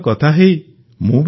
ଆପଣଙ୍କୁ ଅନେକ ଅନେକ ଶୁଭକାମନା